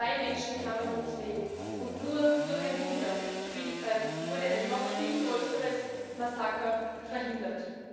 Zwei Menschen kamen ums Leben, und nur durch ein Wunder wurde ein noch viel größeres Massaker verhindert.